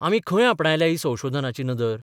आमी खंय आपणायल्या ही संशोधनाची नदर?